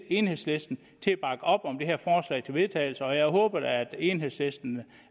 enhedslisten til at bakke op om det her forslag til vedtagelse og jeg håber da at enhedslisten